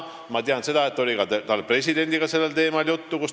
Ma tean, et tal oli täna ka presidendiga sellel teemal juttu.